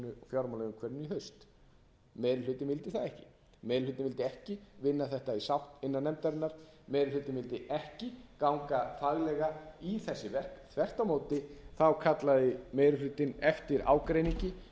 fjármálaumhverfinu í haust meiri hlutinn vildi það ekki meiri hlutinn vildi ekki vinna þetta í sátt innan nefndarinnar meiri hlutinn vildi ekki ganga faglega í þessi verk þvert á móti kallaði meiri hlutinn eftir ágreiningi